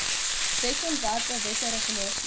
wetsontwerpe wette regulasies